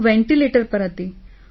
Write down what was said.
હું વેન્ટિલેટર પર હતી